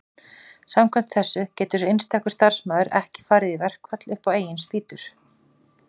samkvæmt þessu getur einstakur starfsmaður ekki farið í verkfall upp á eigin spýtur